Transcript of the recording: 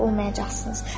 olmayacaqsınız.